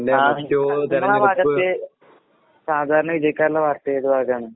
ആഹ്. നിങ്ങളാ ഭാഗത്ത് സാധാരണ വിജയിക്കാറ്ള്ള പാർട്ടി ഏത് പാർട്ടിയാണ്?